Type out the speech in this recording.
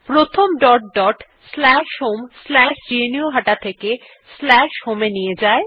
প্রথম আমাদের dot dot slash home slash গ্নুহাটা থেকে স্ল্যাশ হোম এ নিয়ে যায়